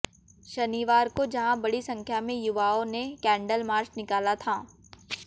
शनिवार को जहां बड़ी संख्या मे युवाओं ने कैंडल मार्च निकाला था